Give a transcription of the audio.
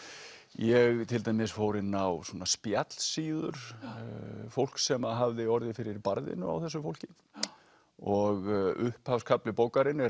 ég til dæmis fór inn á svona spjallsíður fólks sem hafði orðið fyrir barðinu á þessu fólki og upphafskafli bókarinnar er